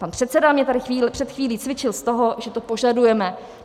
Pan předseda mě tady před chvílí cvičil z toho, že to požadujeme.